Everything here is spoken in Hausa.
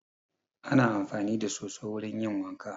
Ana amfani da soso wurin yin wanka